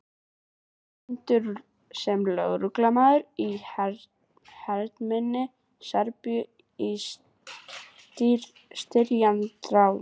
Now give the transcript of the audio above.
Illræmdur sem lögreglustjóri í hernuminni Serbíu á styrjaldarárunum.